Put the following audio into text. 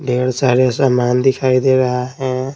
ढेर सारे सामान दिखाई दे रहा है।